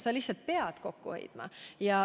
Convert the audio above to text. Sa lihtsalt pead kokku hoidma.